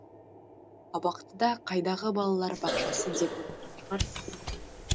абақтыда қайдағы балалар бақшасы деп отырған шығарсыз